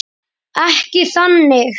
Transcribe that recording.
Ekki þannig.